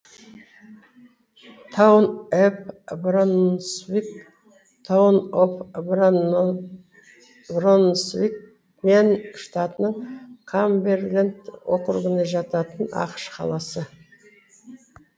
таун эп бронсвик таун оф бронсвик мэн штатының камберленд округіне жататын ақш қаласы